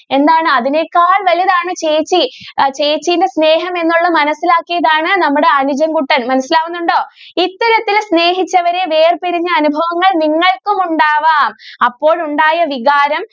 എന്താണ് അതിനേക്കാൾ വലുതാണ് ചേച്ചി ചേച്ചിയുടെ സ്നേഹം എന്നുള്ള മനസിലാക്കിയതാണ് നമ്മുടെ അനുജൻ കുട്ടൻ മനസിലാകുന്നുണ്ടോ ഇത്തരത്തിൽ സ്നേഹിച്ചവരെ വേർപിരിഞ്ഞ അനുഭവങ്ങൾ നിങ്ങൾക്കും ഉണ്ടാകാം അപ്പോൾ ഉണ്ടായ വികാരം.